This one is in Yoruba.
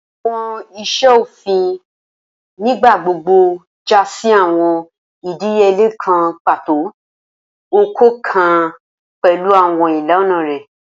Awọn iṣe ofin nigbagbogbo ja si awọn idiyele kan pato, ọkọọkan pẹlu awọn ilana rẹ